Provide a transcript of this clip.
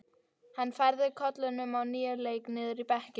Hann færði koluna á nýjan leik niður í bekkinn.